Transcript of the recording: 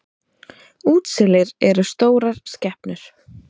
Útselir eru stórar skepnur.